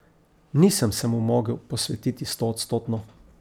Nisem se mu mogel posvetiti stoodstotno.